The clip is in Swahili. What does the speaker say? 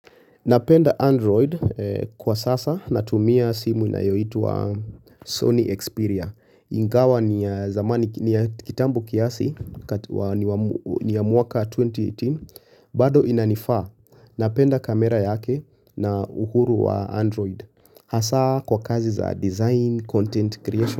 Napenda Android kwa sasa natumia simu inayoitua Sony Xperia. Ingawa ni ya zamani kitambo kiasi, ni ya mwaka 2018, bado inanifaa. Napenda kamera yake na uhuru wa Android. Hasa kwa kazi za design, content creation.